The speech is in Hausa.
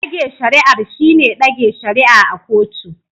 Dage shari'ar shine dage shari'a a kotu.